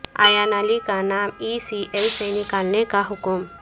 ایان علی کا نام E C L سے نکالنے کا حکم